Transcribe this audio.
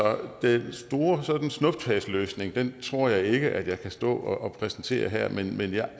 den store sådan snuptagsløsning tror jeg ikke jeg kan stå og præsentere her men men jeg